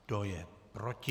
Kdo je proti?